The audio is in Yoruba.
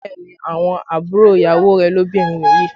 Bẹẹ ni, àwọn àbúrò ìyàwó rẹ̀ lóbìnrin nìyí